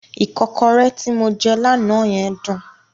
Ìkọ́kọrẹ́ tí mo jẹ́ lánàá yẹn dùn.